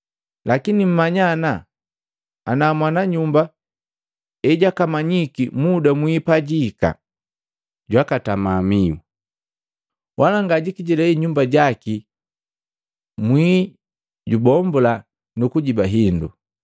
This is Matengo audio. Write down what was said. Lakini mmanya ana, ana mwananyumba ejakamanyiki muda mwii pajiihika, jwakatama mihu. Wala ngajikijilei nyumba jaki mwii jubombula nukujiba hindu.